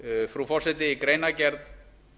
frú forseti í greinargerð